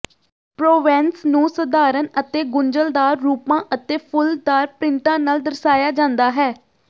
Provence ਨੂੰ ਸਧਾਰਣ ਅਤੇ ਗੁੰਝਲਦਾਰ ਰੂਪਾਂ ਅਤੇ ਫੁੱਲਦਾਰ ਪ੍ਰਿੰਟਾਂ ਨਾਲ ਦਰਸਾਇਆ ਜਾਂਦਾ ਹੈ